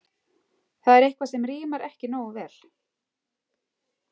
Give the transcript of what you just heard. Það er eitthvað sem rímar ekki nógu vel.